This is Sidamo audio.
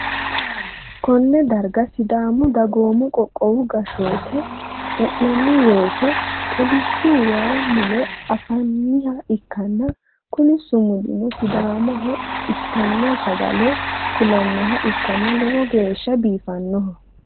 konne darga sidaamu dagoomi qoqqowi gashshoote e'nanni woyte kolishshu waay mule anfanniha ikkanna, kuni sumudino sidaamaho itanno sagale kulannoha ikknna lowo geehshano biifannoho.